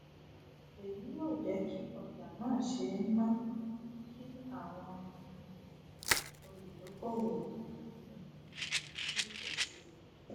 eyi yio jeki ọjà na ṣe ń ná kí àwọn um oludokowo um sì pò sí